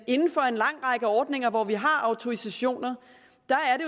at inden for en lang række ordninger hvor vi har autorisationer